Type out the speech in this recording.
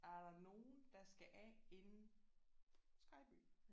Er der nogen der skal af inden Skejby